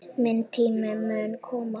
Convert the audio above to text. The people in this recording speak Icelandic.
Minn tími mun koma.